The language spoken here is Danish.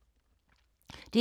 DR K